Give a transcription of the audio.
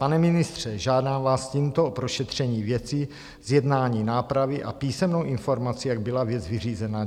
Pane ministře, žádám vás tímto o prošetření věci, zjednání nápravy a písemnou informaci, jak byla věc vyřízena.